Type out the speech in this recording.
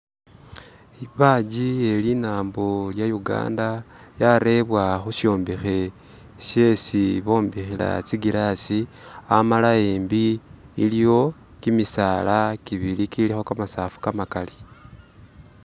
Badge ye linambo lya Uganda yarebwa khushombekhe shesi bombekhela zi glass amala ahembi iliwo gimisaala gibili gilikho gamasafu gamagali.